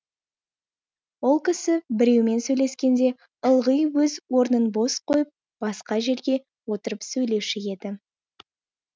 ол кісі біреумен сөйлескенде ылғи өз орнын бос қойып басқа жерде отырып сөйлесуші еді